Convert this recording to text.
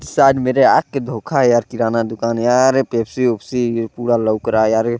सायद (शायद) मेरे आँख के धोका यार किराना दुकान यार ये पेप्सी उपसि पूरा लोक रहा यार ये।